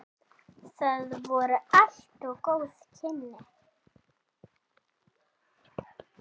Það voru allt góð kynni.